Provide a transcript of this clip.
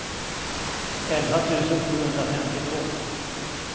elva tusen sjuhundrafemtiotvå